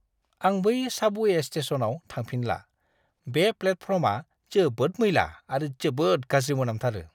आं बै साबवे स्टेशनआव थांफिनला। बे प्लेटफर्मआ जोबोद मैला आरो जोबोद गाज्रि मोनामथारो!